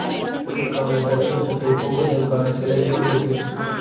குளிர் கால ஜலதோஷத்தை போக்குவதற்கான சில இயற்கை டிப்ஸ்